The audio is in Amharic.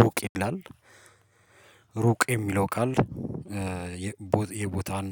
ሩቅ ይላል ሩቅ የሚለው ቃል የቦ የቦታን